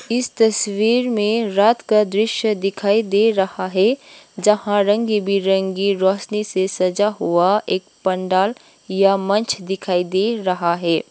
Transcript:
इस तस्वीर में रात का दृश्य दिखाई दे रहा है जहां रंग बिरंगे रोशनी से सजा हुआ एक पंडाल या मंच दिखाई दे रहा है।